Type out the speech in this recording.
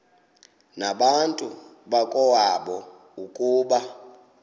nabantu bakowabo ukuba